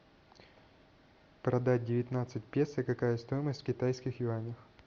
продать девятнадцать песо какая стоимость в китайских юанях